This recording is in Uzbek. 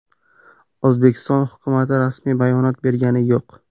O‘zbekiston hukumati rasmiy bayonot bergani yo‘q.